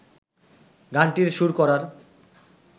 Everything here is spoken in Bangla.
গানটির সুর করার